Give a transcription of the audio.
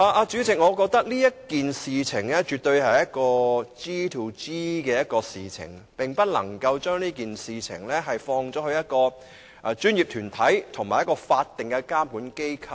主席，我認為此事絕對是 "G2G" 的事情，不能單單依賴一個專業團體及一間法定監管機構。